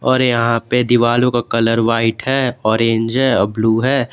और यहां पे दीवालो का कलर व्हाइट है ऑरेंज है अ ब्लू है।